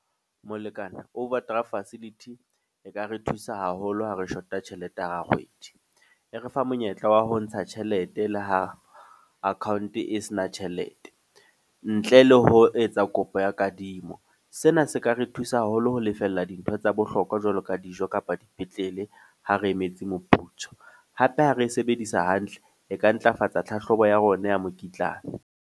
Molekane, overdraft facility e ka re thusa haholo ha re shota tjhelete hara kgwedi. E re fa monyetla wa ho ntsha tjhelete le ha account e se na tjhelete. Ntle le ho etsa e kopo ya kadimo. Sena se ka re thusa haholo ho lefella dintho tsa bohlokwa jwalo ka dijo kapa dipetlele ha re emetse moputso. Hape ha re e sebedisa hantle, e ka ntlafatsa tlhahlobo ya rona ya mokitlane.